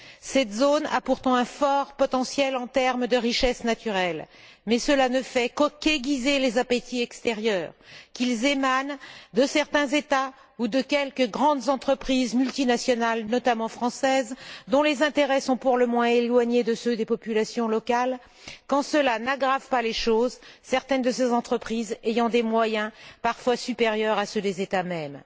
Cette zone a pourtant un fort potentiel en termes de richesses naturelles, mais cela ne fait qu'aiguiser les appétits extérieurs, qu'ils émanent de certains États ou de quelques grandes entreprises multinationales, notamment françaises, dont les intérêts sont pour le moins éloignés de ceux des populations locales, quand cela n'aggrave pas les choses, certaines de ces entreprises ayant des moyens parfois supérieurs à ceux des États mêmes.